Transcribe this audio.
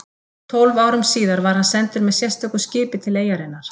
Tólf árum síðar var hann sendur með sérstöku skipi til eyjarinnar